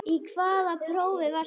Í hvaða prófi varstu?